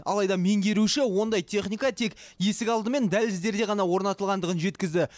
алайда меңгеруші ондай техника тек есік алды мен дәліздерде ғана орнатылғандығын жеткізді